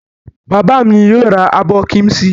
Bàbá mi yóò ra abọ́ kíḿṣì.